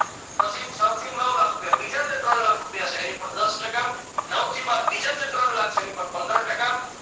પછી છ થી નવ લાખ રૂપિયા બીજા જે ત્રણ લાખ રૂપિયા છે એની પર દસ ટકા નવથી બાર બીજા જે ત્રણ લાખ છે એની પર પંદર ટકા